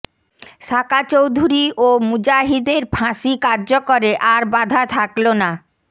সাকা চৌধুরী ও মুজাহিদের ফাঁসি কার্যকরে আর বাঁধা থাকলো না